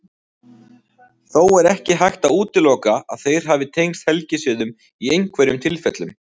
Þó er ekki hægt að útiloka að þeir hafi tengst helgisiðum í einhverjum tilfellum.